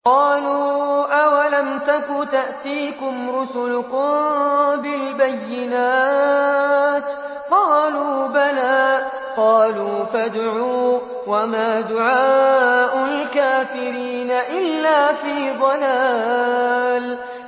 قَالُوا أَوَلَمْ تَكُ تَأْتِيكُمْ رُسُلُكُم بِالْبَيِّنَاتِ ۖ قَالُوا بَلَىٰ ۚ قَالُوا فَادْعُوا ۗ وَمَا دُعَاءُ الْكَافِرِينَ إِلَّا فِي ضَلَالٍ